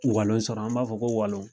Walon sɔrɔ an b'a fɔ ko walon